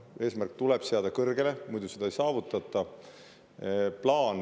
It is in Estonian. Eesmärgid tuleb seada kõrgele, muidu ei saavutata.